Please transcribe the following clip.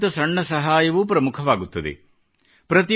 ಸಣ್ಣಕಿಂತ ಸಣ್ಣ ಸಹಾಯವೂ ಪ್ರಮುಖವಾಗುತ್ತದೆ